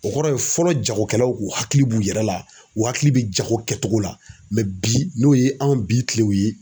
O kɔrɔ ye fɔlɔ jagokɛlaw kun hakili b'u yɛrɛ la u hakili bɛ jago kɛcogo la bi n'o ye anw bi kilew ye